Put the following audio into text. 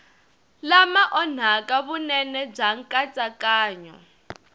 lama onhaka vunene bya nkatsakanyo